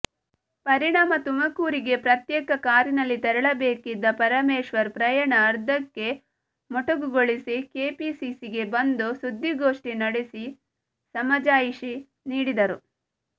ಪರಿಣಾಮ ತುಮಕೂರಿಗೆ ಪ್ರತ್ಯೇಕ ಕಾರಿನಲ್ಲಿ ತೆರಳಬೇಕಿದ್ದ ಪರಮೇಶ್ವರ್ ಪ್ರಯಾಣ ಅರ್ಧಕ್ಕೆ ಮೊಟಕುಗೊಳಿಸಿ ಕೆಪಿಸಿಸಿಗೆ ಬಂದು ಸುದ್ದಿಗೋಷ್ಠಿ ನಡೆಸಿ ಸಮಜಾಯಿಷಿ ನೀಡಿದರು